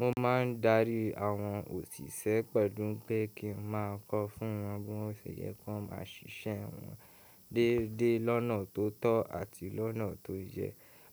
Mo máa ń darí àwọn òṣìṣẹ́ pẹ̀lú pé kí n máa kọ fún wọn bí o ṣe yẹ kí wọ́n máa ṣiṣẹ́ wọn dédé lọ́nà tó tọ́ àti lọ́nà tó yẹ.